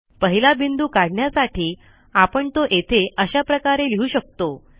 पहिला बिंदू काढण्यासाठी आपण तो येथे अशा प्रकारे लिहू शकतो